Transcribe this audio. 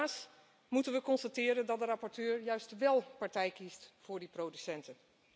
Helaas moeten we constateren dat de rapporteur juist wél partij kiest voor die producenten.